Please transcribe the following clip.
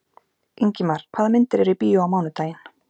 Ingimar, hvaða myndir eru í bíó á mánudaginn?